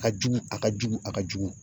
A ka jugu ,a ka jugu ,a ka jugu.